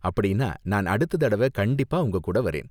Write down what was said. அப்படின்னா நான் அடுத்த தடவ கண்டிப்பா உங்ககூட வரேன்.